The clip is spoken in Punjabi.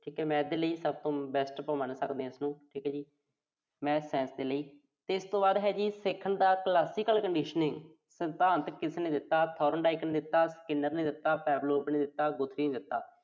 ਠੀਕ ਆ ਜੀ Math ਦੇ ਲਈ ਸਭ ਤੋਂ best ਆਪਾਂ ਇਸਨੂੰ ਮੰਨ ਸਕਦੇ ਆਂ। Math, Science ਦੇ ਲਈ। ਫਿਰ ਇਸ ਤੋਂ ਬਾਅਦ ਹੈ ਜੀ, ਸਿੱਖਣ ਦਾ Classical conditioning ਸਿਧਾਂਤ ਕਿਸਨੇ ਦਿੱਤਾ। Thorndike ਨੇ ਦਿੱਤਾ Skinner ਨੇ ਦਿੱਤਾ Pavlov ਨੇ ਦਿੱਤਾ ਨੇ ਦਿੱਤਾ।